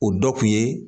O dɔ kun ye